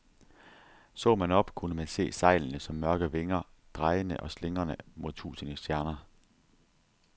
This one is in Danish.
Så man op, kunne man se sejlene som mørke vinger, drejende og slingrende mod tusinde stjerner.